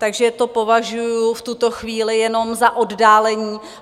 Takže to považuji v tuto chvíli jenom za oddálení.